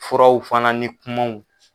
Furaw fana ni kumaw